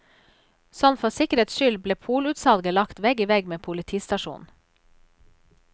Sånn for sikkerhets skyld ble polutsalget lagt vegg i vegg med politistasjonen.